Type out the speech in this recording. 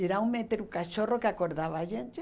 geralmente era um cachorro que acordava a gente.